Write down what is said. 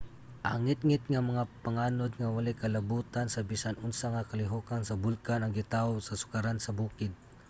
ang ngitngit nga mga panganod nga walay kalabutan sa bisan unsa nga kalihokan sa bulkan ang gitaho sa sukaran sa bukid